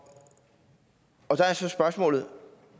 og så er spørgsmålet